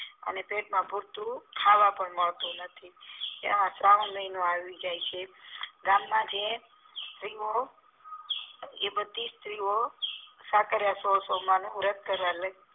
એને પેટમાં પૂરતું ખાવાનું પણ મળતું નથી તેમા શ્રવણ મહિનો આવી જાય છે ગામ મા જે સ્ત્રીઓ એ બધીજ સ્ત્રીઓ સાકરીયા સોળ સોમવારનું વ્રત કરે